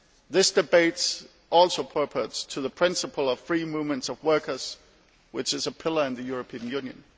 This debate also relates to the principle of free movement of workers, which is a pillar of the European Union.